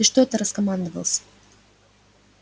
ты что это раскомандовался